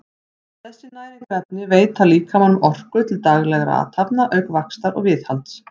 þessi næringarefni veita líkamanum orku til daglegra athafna auk vaxtar og viðhalds